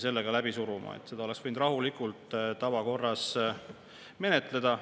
Seda oleks võinud rahulikult tavakorras menetleda.